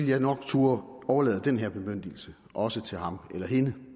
jeg nok turde overlade den her bemyndigelse også til ham eller hende